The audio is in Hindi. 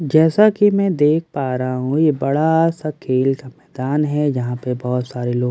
जैसा कि मैं देख पा रही हूं यह बड़ा सा खेल का मैदान है जहां पर बहुत सारे लोग खड़े है ।